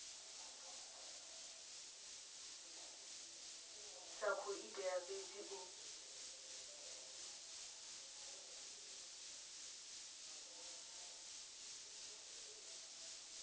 sa khou itela fhedzi u